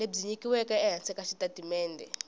lebyi nyikiweke ehansi ka xitatimende